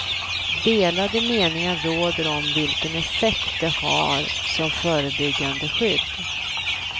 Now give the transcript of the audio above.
Delade meningar råder om vilken effekt det har som förebyggande skydd.